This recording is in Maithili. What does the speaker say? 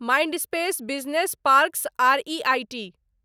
Mindspace business parks R E I T